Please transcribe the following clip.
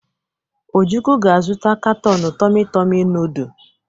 Ojukwu ga-azụta katọn tomị-tomị nọọdụ.